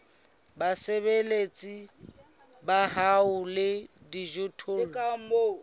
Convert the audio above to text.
basebeletsi ba hao le dijothollo